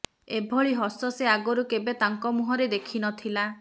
ଏଭଳି ହସ ସେ ଆଗରୁ କେବେ ତାଙ୍କ ମୁହଁରେ ଦେଖିନଥିଲା